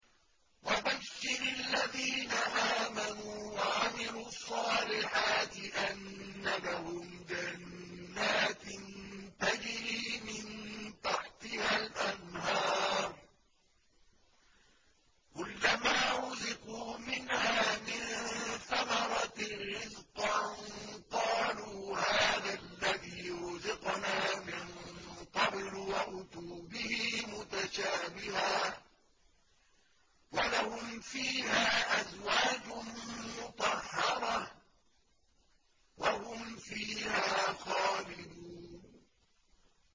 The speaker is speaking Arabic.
وَبَشِّرِ الَّذِينَ آمَنُوا وَعَمِلُوا الصَّالِحَاتِ أَنَّ لَهُمْ جَنَّاتٍ تَجْرِي مِن تَحْتِهَا الْأَنْهَارُ ۖ كُلَّمَا رُزِقُوا مِنْهَا مِن ثَمَرَةٍ رِّزْقًا ۙ قَالُوا هَٰذَا الَّذِي رُزِقْنَا مِن قَبْلُ ۖ وَأُتُوا بِهِ مُتَشَابِهًا ۖ وَلَهُمْ فِيهَا أَزْوَاجٌ مُّطَهَّرَةٌ ۖ وَهُمْ فِيهَا خَالِدُونَ